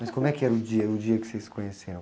Mas como é que era o dia, o dia que vocês se conheceram?